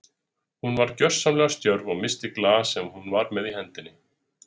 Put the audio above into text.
Hún varð gersamlega stjörf og missti glas sem hún var með í hendinni.